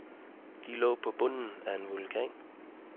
De lå på bunden af en vulkan.